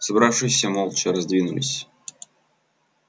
собравшиеся молча раздвинулись